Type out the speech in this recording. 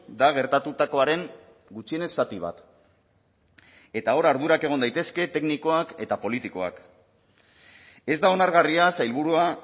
da gertatutakoaren gutxienez zati bat eta hor ardurak egon daitezke teknikoak eta politikoak ez da onargarria sailburua